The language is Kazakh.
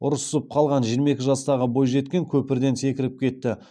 ұрысып қалған жиырма екі жастағы бойжеткен көпірден секіріп кетті